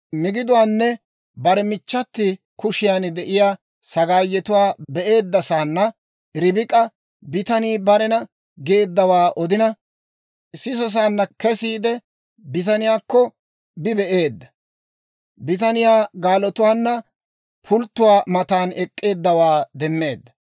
Migiduwaanne bare michchati kushiyaan de'iyaa sagaayetuwaa be'eeddasaana Ribik'a bitanii barena geeddawaa odina sisosaanna, kesiide bitaniyaakko bi be'eedda; bitaniyaa gaalotuwaanna pulttuwaa matan ek'k'eeddawaa demmeedda.